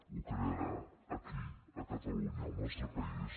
ho crearà aquí a catalunya al nostre país